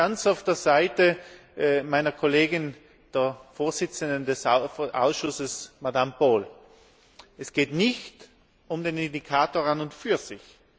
Da bin ich ganz auf der Seite meiner Kollegin, der Vorsitzenden des Ausschusses, Frau Bowles Es geht nicht um den Indikator an und für sich.